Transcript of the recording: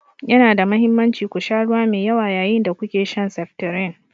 Yana da mahimmanci ku sha ruwa mai yawa yayin da kuke shan seftirin.